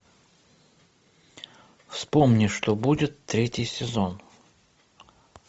вспомни что будет третий сезон